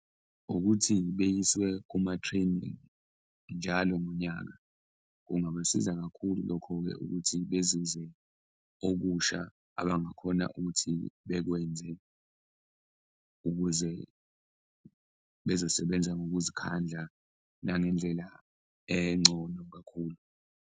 Ukuthi beyiswe kuma-training njalo ngonyaka, kungabasiza kakhulu lokho-ke ukuthi bezizwe okusha abangakhona ukuthi bekwenze ukuze bezosebenza ngokuzikhandla nangendlela engcono kakhulu.